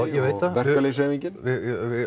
verkalýðshreyfingin við